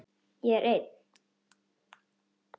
Ég er einn.